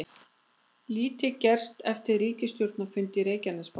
Lítið gerst eftir ríkisstjórnarfund í Reykjanesbæ